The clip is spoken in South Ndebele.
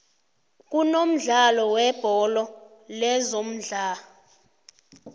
kunomdlalo webholo lezondla